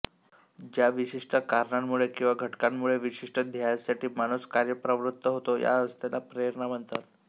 ज्या विशिष्ट कारणांमुळे किंवा घटकांमुळे विशिष्ट ध्येयासाठी माणूस कार्यप्रवृत्त होतो या अवस्थेला प्रेरणा म्हणतात